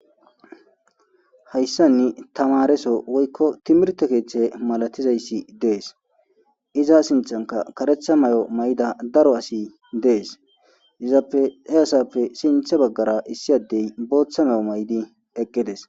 hayssanni tamareso woykko timirto keeththe malatizayssi dees iza sinthanka karetha may7o may7ida daro asi dees izappe he asappe sintha baggara issi addey booththa mayo may7di eqqedes